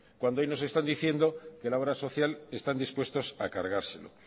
cuando hoy nos están diciendo que la obra social están dispuestos a cargárselo